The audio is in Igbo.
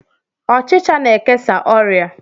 Ọchicha na-ekesa oria